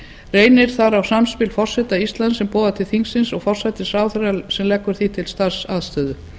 reynir þar á samspil forseta íslands sem boðar til þingsins og forsætisráðherra sem leggur því til starfsaðstöðu